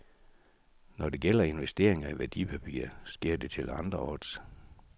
Når det gælder investeringer i værdipapirer, sker det til andre odds.